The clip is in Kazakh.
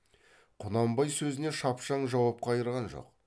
құнанбай сөзіне шапшаң жауап қайырған жоқ